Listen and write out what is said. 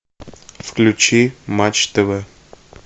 включи матч тв